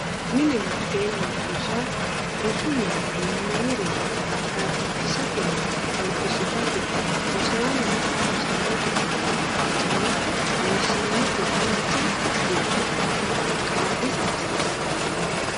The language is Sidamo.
Mine Mitteenni Rosa Rosu mine uynanni roso dhaabbachishatenna albisufate rosaanonna rosaanote ayiddi mitteenni loossannoti dancha dilgo noota qaagiissa hasiissanno Mine.